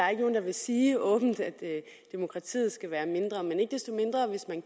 er nogen der vil sige åbent at demokratiet skal være mindre men